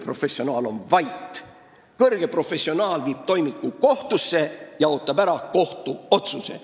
Professionaal on vait, ta viib toimiku kohtusse ja ootab ära kohtuotsuse.